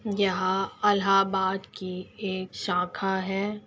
यहाँ अलहाबाद की एक शाखा है।